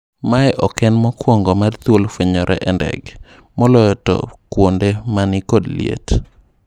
Mae ok en mokwongo mar thuol fwenyore e ndege, moloyo to kwonde mani kod liet.